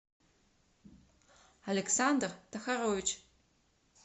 александр тахарович